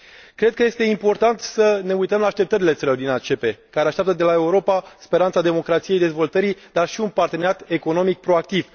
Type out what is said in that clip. Cred că este important să ne uităm la așteptările țărilor din ACP, care așteaptă de la Europa speranța democrației, a dezvoltării, dar și un parteneriat economic proactiv.